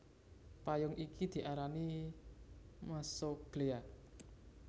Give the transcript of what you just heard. Payung iki diarani mesoglea